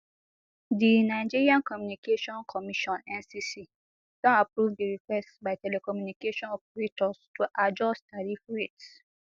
di nigerian communications commission ncc don approve di request by telecommunication operators to adjust tariff rates